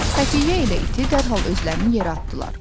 Xəfiyyə ilə iti dərhal özlərini yerə atdılar.